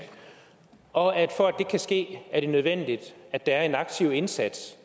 og at det er nødvendigt at der er en aktiv indsats